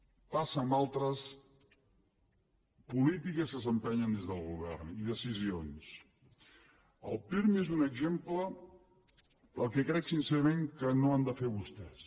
passa amb altres polítiques que s’empenyen des del govern i decisions el pirmi és un exemple del que crec sincerament que no han de fer vostès